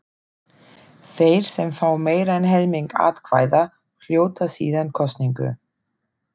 Þeir sem fá meira en helming atkvæða hljóta síðan kosningu.